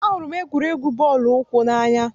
Ahụrụ m egwuregwu bọọlụ ụkwụ n'anya.